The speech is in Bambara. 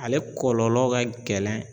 Ale kɔlɔlɔ ka gɛlɛn